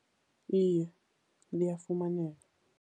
Iye, liyafumaneka.